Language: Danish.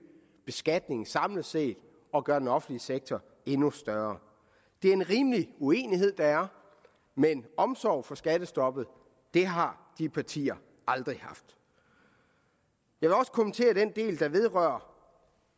beskatningen samlet set og gøre den offentlige sektor endnu større det er en rimelig uenighed der er men omsorg for skattestoppet har de partier aldrig haft jeg vil også kommentere den del der vedrører